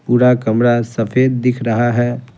पूरा कमरा सफेद दिख रहा है।